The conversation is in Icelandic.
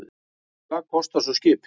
Og hvað kostar svo skipið?